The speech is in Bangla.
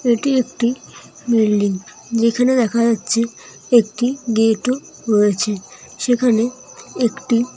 এটি একটি বিল্ডিং যেখানে দেখা যাচ্ছে একটি গেট ও রয়েছে। সেখানে একটি--